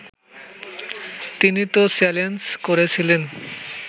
তিনি তো চ্যালেঞ্জ করেছিলেন